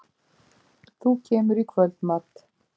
Þú kemur í kvöldmat?